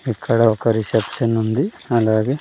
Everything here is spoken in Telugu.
ఇక్కడ ఒక రిసెప్షన్ ఉంది అలగే--